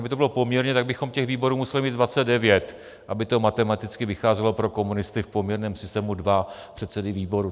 Aby to bylo poměrné, tak bychom těch výborů museli mít 29, aby to matematicky vycházelo pro komunisty v poměrném systému, dva předsedy výborů.